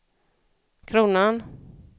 kronan